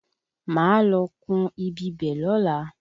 Máa lọ kùn-ún ibibẹ̀ lọ́la